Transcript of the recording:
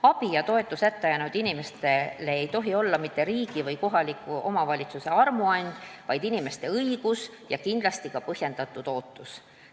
Abi ja toetus hätta jäänud inimestele ei tohi olla mitte riigi või kohaliku omavalitsuse armuand, vaid inimeste õigus ja kindlasti ka põhjendatud ootus.